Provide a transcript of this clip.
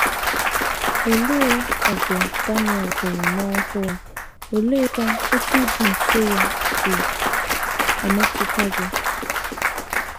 Olee ọgụ Daniel hụrụ n’ọhụụ, oleekwa otú ịdị nso ya si emetụta gị?